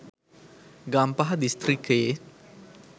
ගම්පහ දිස්‌ත්‍රික්‌කයේ